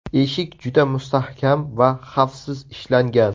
Eshik juda mustahkam va xavfsiz ishlangan.